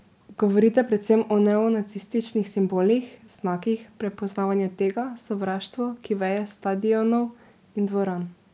Govorite predvsem o neonacističnih simbolih, znakih, prepoznavanju tega , sovraštvo, ki veje s stadionov in dvoran...